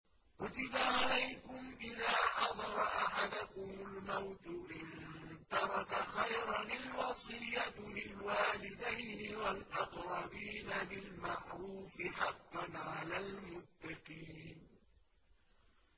كُتِبَ عَلَيْكُمْ إِذَا حَضَرَ أَحَدَكُمُ الْمَوْتُ إِن تَرَكَ خَيْرًا الْوَصِيَّةُ لِلْوَالِدَيْنِ وَالْأَقْرَبِينَ بِالْمَعْرُوفِ ۖ حَقًّا عَلَى الْمُتَّقِينَ